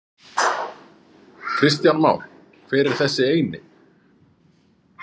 Kristján Már: Hver er þessi eini?